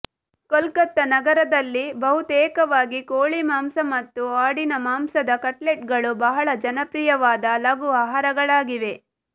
ಕೊಲ್ಕತ್ತ ನಗರದಲ್ಲಿ ಬಹುತೇಕವಾಗಿ ಕೊಳಿಮಾಂಸ ಮತ್ತು ಆಡಿನಮಾಂಸದ ಕಟ್ಲೆಟ್ಗಳು ಬಹಳ ಜನಪ್ರಿಯವಾದ ಲಘು ಆಹಾರಗಳಾಗಿವೆ